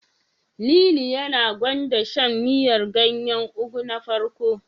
Lili yana gwanda shan miyar ganyen Ugu na farko.